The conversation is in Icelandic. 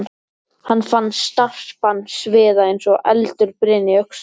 Hann fann snarpan sviða eins og eldur brynni í öxlinni.